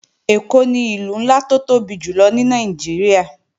Èkó ni Ìlú ńlá tó tóbi jùlọ ní Nàìjíríà